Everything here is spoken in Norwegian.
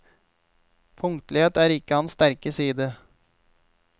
Punktlighet er ikke hans sterke side.